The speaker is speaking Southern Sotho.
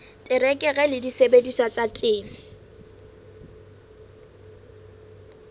terekere le disebediswa tsa temo